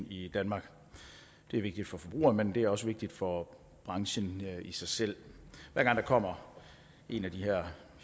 i danmark det er vigtigt for forbrugerne men det er også vigtigt for branchen i sig selv hver gang der kommer en af de her